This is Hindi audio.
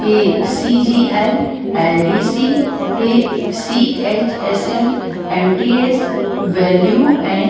A CGL LDC AC -H- SL MTS value and --